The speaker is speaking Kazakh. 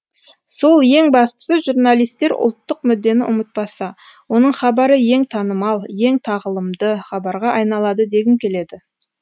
сол ең бастысы журналистер ұлттық мүддені ұмытпаса оның хабары ең танымал ең тағылымды хабарға айналады дегім келеді